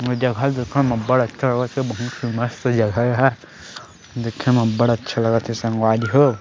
ए जगह देखे म अब्बड़ अच्छा लगत हे बहुत ही मस्त जगह एहा देखे मे अब्बड़ अच्छा लगत हे संगवारी हो।